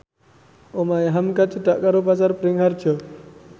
omahe hamka cedhak karo Pasar Bringharjo